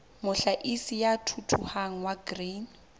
mohlahisi ya thuthuhang wa grain